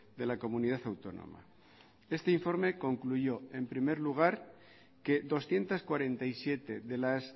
de la comunidad autónoma este informe concluyó en primer lugar que doscientos cuarenta y siete de las